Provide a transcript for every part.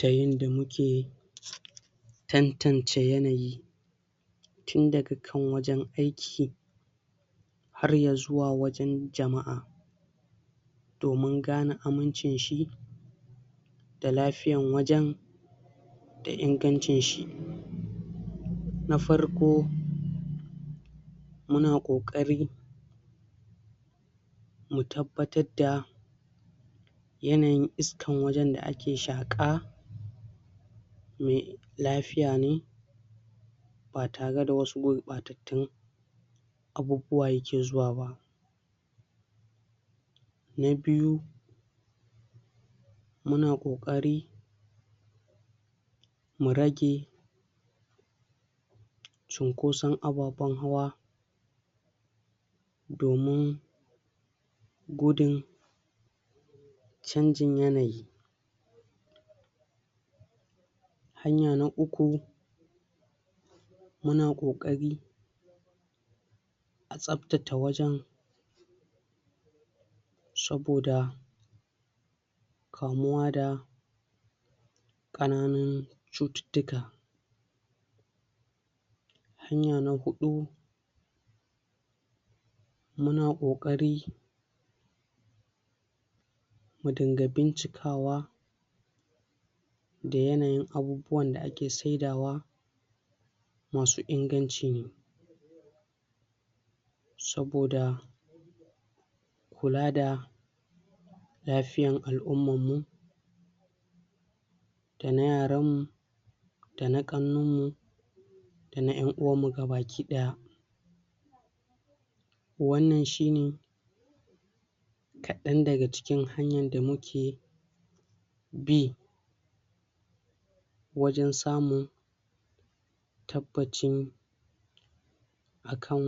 Ta yanda muke tan-tance yanayi tun daga kan wajen aiki har ya zuwa wajen jama'a, domin gane aminci shi da lafiyan wajen da inaganci shi. Na farko; Muna ƙoƙari mu tabbatar da yanayin iskan wajen da ake shaƙa mai lafiya ne ba tare da wasu gurɓatattun abubuwa ya ke zuwa ba. Na biyu; Muna ƙoƙari mu rage cunkoson ababen hawa domin gudun canjin yanayi. Hanya na uku; Muna ƙoƙari tsaftata wajen saboda kamuwa da ƙananun cututtuka. Hanya na huɗu; Muna ƙoƙari mu dinga bincikawa da yanayin abubuwan da ake saidawa masu inganci ne. Saboda kula da lafiyan al'umman mu da na yaran mu da na ƙannan mu da na yab-uwan mu ga baki ɗaya. Wannan shi ne kaɗan daga cikin hanyan da muke bi wajen samun tabbacin akan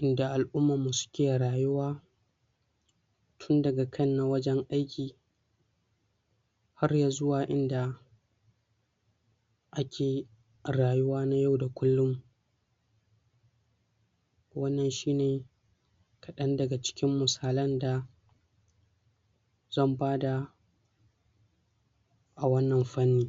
inda al'umman mu suke rayuwa tun daga kan na wajen aiki har ya zuwa inda ake rayuwa na yau da kullum. Wannan shi ne kaɗan daga cikin musalan da zan bada a wannan fanni.